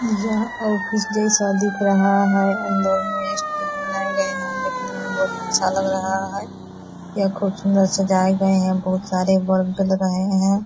यह ऑफिस जैसा दिख रहा है अंदर में स्टेज बनाये गये है देखने में बहुत अच्छा लग रहा है यह खूब सुन्दर सजाये गये है बहुत सारे बल्ब जल रहे है।